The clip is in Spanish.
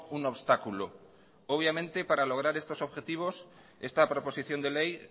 un obstáculo obviamente para lograr estos objetivos esta proposición de ley